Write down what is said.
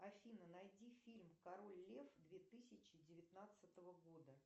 афина найди фильм король лев две тысячи девятнадцатого года